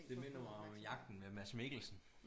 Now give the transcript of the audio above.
Det minder mig om jagten med Mads Mikkelsen